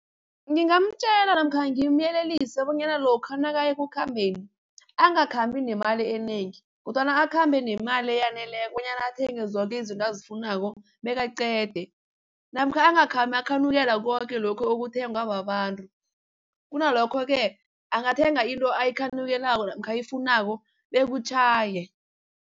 Ngingamtjela namkha ngimyelelise bonyana lokha nakayekukhambeni angakhambi nemali enengi, kodwana akhambe nemali eyaneleko bonyana athenge zoke izinto azifunako bekaqede. Namkha angakhambi akhanukela koke lokhu okuthengwa babantu kunalokhoke angathenga into ayikhanukelako namkha ayifunako bekutjhaye.